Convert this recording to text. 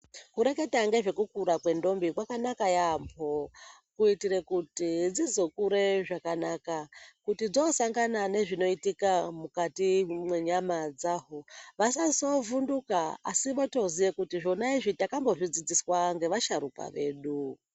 Kureketa ngezvekukura kwendombi kwakanaka yaambo kuitire kuti dzizokure zvakanaka kuti dzosangana nezvinoitika mukati mwenyama dzaho. Vasazovhunduka asi votoziye kuti zvona izvi takambozvidzidziswa ngevasharuka vedu.